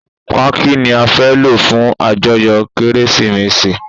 Páàkí ni a fẹ́ lọ fún ajoyo Kérésìmesì.